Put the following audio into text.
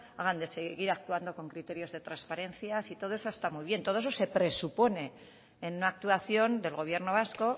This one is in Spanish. hablan de seguir actuando con criterios de transparencia si todo eso está muy bien todo eso se presupone en una actuación del gobierno vasco